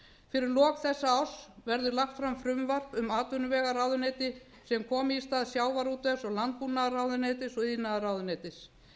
fyrir lok þessa árs verður lagt fram frumvarp um atvinnuvegaráðuneyti sem komi í stað sjávarútvegs og landbúnaðarráðuneytis og iðnaðarráðuneytis